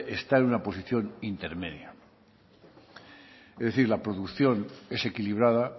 está en una posición intermedia es decir la producción es equilibrada